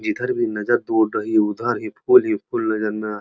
जिधर भी नजर दौड़ रही है उधर ही फूल ही फूल नजर आ --